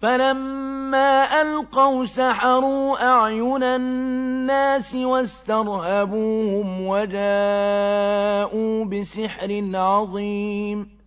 فَلَمَّا أَلْقَوْا سَحَرُوا أَعْيُنَ النَّاسِ وَاسْتَرْهَبُوهُمْ وَجَاءُوا بِسِحْرٍ عَظِيمٍ